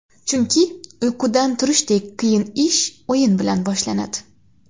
Chunki, uyqudan turishdek qiyin ish o‘yin bilan boshlanadi.